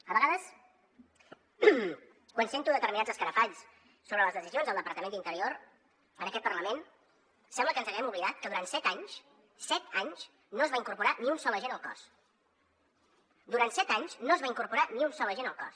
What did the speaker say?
a vegades quan sento determinats escarafalls sobre les decisions del departament d’interior en aquest parlament sembla que ens haguem oblidat que durant set anys set anys no es va incorporar ni un sol agent al cos durant set anys no es va incorporar ni un sol agent al cos